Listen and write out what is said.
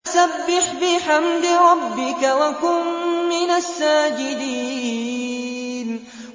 فَسَبِّحْ بِحَمْدِ رَبِّكَ وَكُن مِّنَ السَّاجِدِينَ